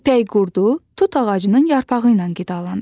İpək qurdu tut ağacının yarpağı ilə qidalanır.